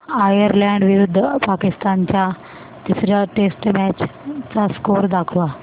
Ireland विरुद्ध पाकिस्तान च्या तिसर्या टेस्ट मॅच चा स्कोअर दाखवा